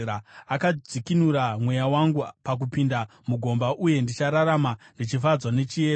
Akadzikinura mweya wangu pakupinda mugomba, uye ndichararama ndichifadzwa nechiedza.’